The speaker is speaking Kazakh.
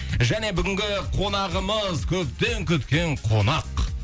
және бүгінгі қонағымыз көптен күткен қонақ